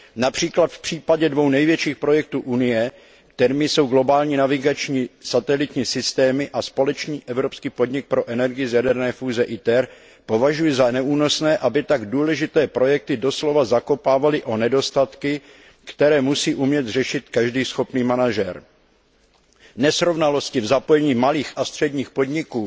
Například v případě dvou největších projektů Evropské unie, kterými jsou globální navigační satelitní systémy a společný evropský podnik pro energii z jaderné fúze ITER považuji za neúnosné, aby tak důležité projekty doslova zakopávaly o nedostatky, které musí umět řešit každý schopný manažer. Nesrovnalosti v zapojení malých a středních podniků